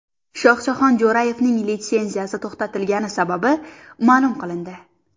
Shohjahon Jo‘rayevning litsenziyasi to‘xtatilgani sababi ma’lum qilindi.